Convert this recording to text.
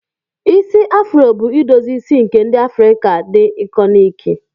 Isi afuro bụ idozi isi nke ndi Afrika dị ikọniki.